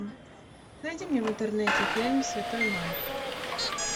найди мне в интернете фильм святой майк